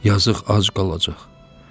Yazıq ac qalacaq.